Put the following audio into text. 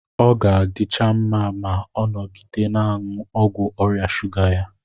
Ọ ga-adịcha mma ma ọ nọgide na-aṅụ ọgwụ ọrịa shuga ya.